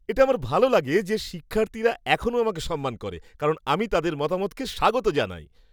এটা আমার ভাল লাগে যে, শিক্ষার্থীরা এখনও আমাকে সম্মান করে। কারণ আমি তাদের মতামতকে স্বাগত জানাই।